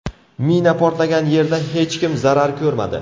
Mina portlagan yerda hech kim zarar ko‘rmadi.